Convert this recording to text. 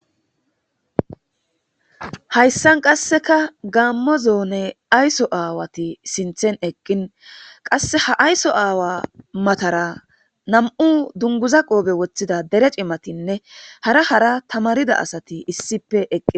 Hayissan qasekka gammo zone ayisso awati sinththen eqin qase ha ayisso awa mattara nam'u dunguza qofe wothada dere cimatinne hara hara tanarida asati issippe eqida